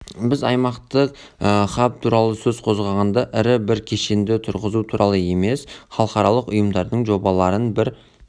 біз аймақтық хаб туралы сөз қозғағанда ірі бір кешенді тұрғызу туралы емес халықаралық ұйымдардың жобаларын бір